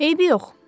Eybi yox.